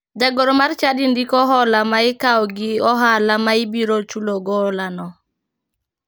Jagoro mar chadi ndiko hola ma ikawo gi ohala ma ibiro chulogo holano.